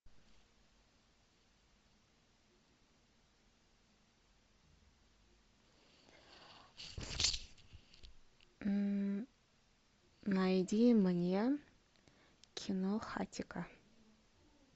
найди мне кино хатико